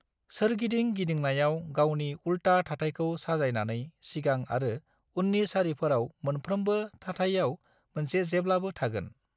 सोरगिदिं गिदिंनायाव गावनि उल्टा थाथाइखौ साजायनानै सिगां आरो उननि सारिफोराव मोनफ्रोमबो थाथाइआव मोनसे जेब्लाबो थागोन।